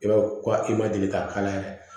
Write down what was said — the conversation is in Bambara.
I b'a fɔ ko i ma deli k'a kala yɛrɛ